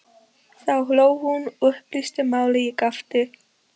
Þá hló hún og upplýsti málið, ég gapti.